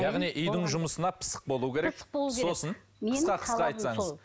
яғни үйдің жұмысына пысық болуы керек сосын қысқа қысқа айтсаңыз